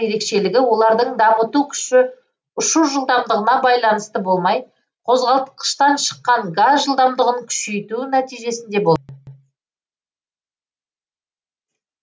ерекшелігі олардың дамыту күші ұшу жылдамдығына байланысты болмай қозғалтқыштан шыққан газ жылдамдығын күшейту нәтижесінде болады